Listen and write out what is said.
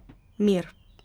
Mir!